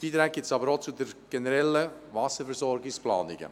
Beiträge gibt es aber auch für generelle Wasserversorgungsplanungen.